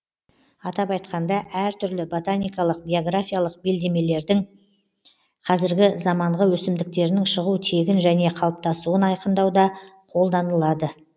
атап айтқаңда әр түрлі ботаникалық географиялық белдемдердің қазіргі заманғы өсімдіктерінің шығу тегін және қалыптасуын айқындауда қолданылады